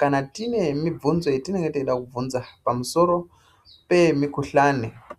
kana tine mubvunzo yatinenge teide kubvunza pamusoro pemikuhlani.